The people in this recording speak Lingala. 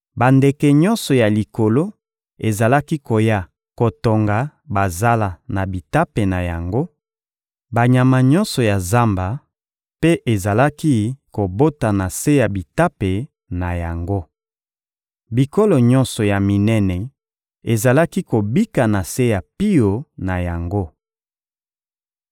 Bandeke nyonso ya likolo ezalaki koya kotonga bazala na bitape na yango, banyama nyonso ya zamba mpe ezalaki kobota na se ya bitape na yango. Bikolo nyonso ya minene ezalaki kobika na se ya pio na yango.